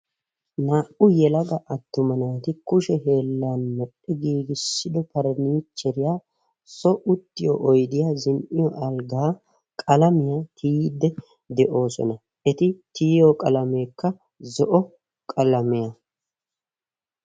Naa"u yelaga attuma naati kushe hiillan medhidi giigisido paraniicheriya so uttiyo oyidiya zin'iyo algaa qalamiya tiyidi doosona. Eti tiyiyo qalameekka zo"o qalamiya.